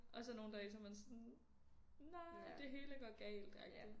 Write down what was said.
Og så nogle dage så man sådan nej det hele går galt agtig